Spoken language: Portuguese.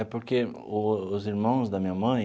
É porque os irmãos da minha mãe